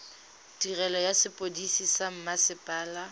tirelo ya sepodisi sa mmasepala